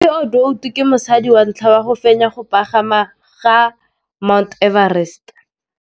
Cathy Odowd ke mosadi wa ntlha wa go fenya go pagama ga Mt Everest.